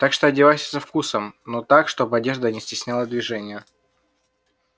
так что одевайся со вкусом но так чтобы одежда не стесняла движение